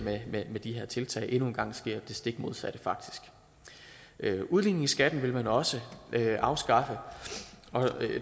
med de her tiltag endnu en gang sker der det stik modsatte udligning i skatten vil man også afskaffe